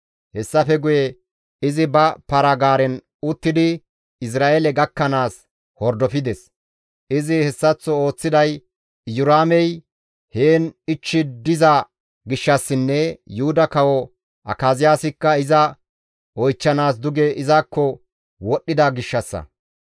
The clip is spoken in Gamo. Hessafe guye izi ba para-gaaren uttidi Izra7eele gakkanaas hordofides. Izi hessaththo ooththiday Iyoraamey heen ichchi diza gishshassinne Yuhuda kawo Akaziyaasikka iza oychchanaas duge izakko wodhdhida gishshassa.